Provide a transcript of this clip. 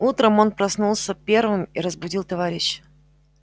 утром он проснулся первым и разбудил товарища